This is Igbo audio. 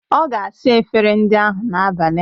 Ọ ga-asa efere ndị ahụ n'abalị a.